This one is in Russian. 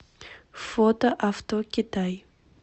фото авто китай